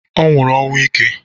Ọ nwụrụ ọnwụ ike